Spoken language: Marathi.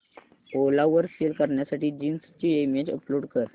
ओला वर सेल करण्यासाठी जीन्स ची इमेज अपलोड कर